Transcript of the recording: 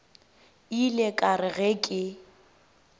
ile ka re ge ke